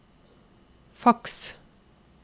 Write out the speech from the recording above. faks